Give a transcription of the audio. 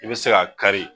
I bɛ se ka kari